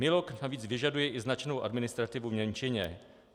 MILoG navíc vyžaduje i značnou administrativu v němčině.